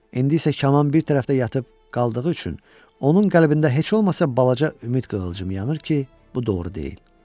İndi isə kaman bir tərəfdə yatıb qaldığı üçün onun qəlbində heç olmasa balaca ümid qığılcımı yanır ki, bu doğru deyil.